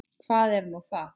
Hvað er nú það?